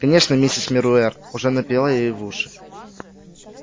конечно миссис мируэр уже напела ей в уши